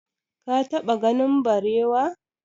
ka taɓa ganin barewa?